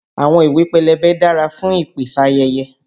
Àwọn ìwé pélébé dára fún ìpèsáyẹyẹ.